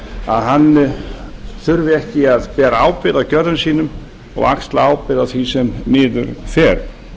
að hann þurfi ekki að bera ábyrgð á gjörðum sínum og axla ábyrgð á því sem miður fer